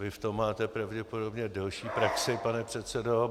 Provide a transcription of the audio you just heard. Vy v tom máte pravděpodobně delší praxi, pane předsedo.